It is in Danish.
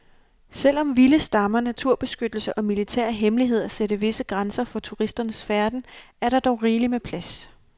Selv om vilde stammer, naturbeskyttelse og militære hemmeligheder sætter visse grænser for turisters færden, er der dog rigeligt med plads.